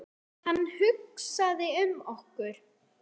Hann hugsaði um okkur.